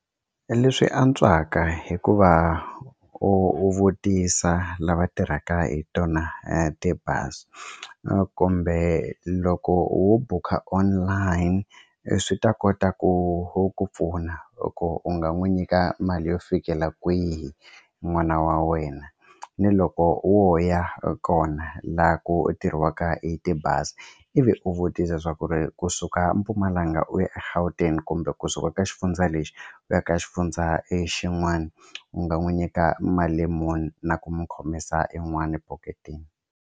Leswi antswaka hikuva u vutisa lava tirhaka hi tona tibazi kumbe loko wo bukha online swi ta kota ku wu ku pfuna loko u nga n'wi nyika mali yo fikela kwihi n'wana wa wena ni loko wo ya kona laha ku tirhiwaka hi tibazi ivi u vutisa leswaku ri kusuka Mpumalanga u ya eGauteng kumbe kusuka ka xifundza lexi u ya ka xifundza e xin'wani u nga n'wi nyika mali muni na ku mu khomisa yin'wani phoketini.